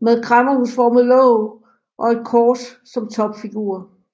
med kræmmerhusformet låg og et kors som topfigur